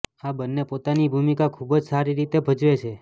આ બંને પોતાની ભૂમિકા ખૂબ જ સારી રીતે ભજવે છે